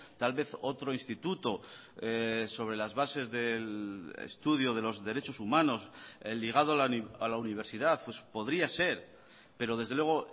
tal vez otro instituto sobre las bases del estudio de los derechos humanos el ligado a la universidad podría ser pero desde luego